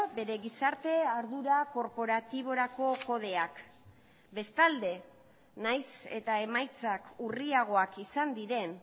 bere gizarte ardura korporatiborako kodeak bestalde nahiz eta emaitzak urriagoak izan diren